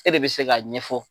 E de bɛ se k'a ɲɛfɔ.